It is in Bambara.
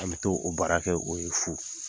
An bɛ taa o baara kɛk'o fo.